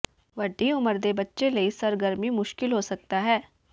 ਵੱਡੀ ਉਮਰ ਦੇ ਬੱਚੇ ਲਈ ਸਰਗਰਮੀ ਮੁਸ਼ਕਲ ਹੋ ਸਕਦਾ ਹੈ